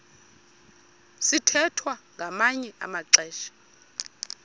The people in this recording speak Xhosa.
sithwethwa ngamanye amaxesha